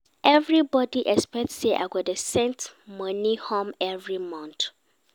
Everybody expect sey I go dey send money home every month.